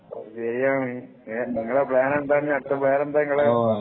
ശെരിയാണ് നിങ്ങള്‍ടെ പ്ലാൻ എന്താണ് അടുത്ത പ്ലാൻ എന്താണ്